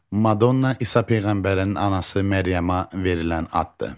Madonna İsa peyğəmbərinin anası Məryəma verilən addır.